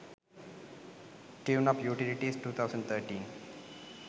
tuneup utilities 2013